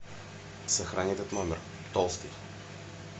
сохрани этот номер толстый